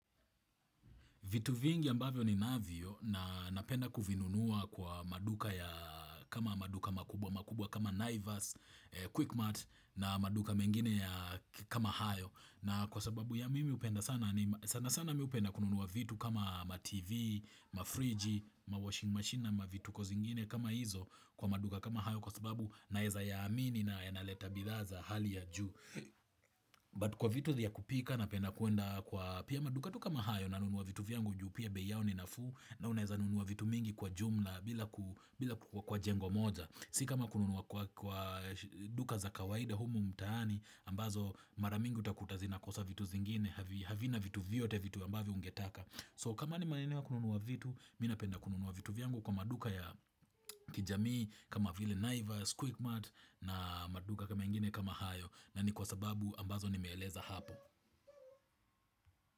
Vitu vingi ambavyo ninavyo na napenda kuvinunua kwa maduka ya kama maduka makubwa makubwa kama Naivas, QuickMart na maduka mengine ya kama hayo. Na kwa sababu ya mimi hupenda sana ni sana sana mimi hupenda kununua vitu kama ma TV, ma fridge, ma washing machine na mavituko zingine kama hizo kwa maduka kama hayo kwa sababu naweza ya amini na yanaleta bidhaa za hali ya juu. But kwa vitu ya kupika na penda kuenda kwa pia maduka tu kama hayo na nunua vitu vyangu juu pia bei yao ninafuu na unaweza nunua vitu mingi kwa jumla bila ku, kwa jengo moja. Si kama kununua kwa duka za kawaida humu mtaani ambazo mara mingi utakuta zinakosa vitu zingine havina vitu vyote vitu ambavyo ungetaka. So kama ni maeneo ya kununua vitu mimi napenda kununua vitu vyangu kwa maduka ya kijamii kama vile naivas, quickmat na maduka mengine kama hayo. Nani kwa sababu ambazo nimeeleza hapo.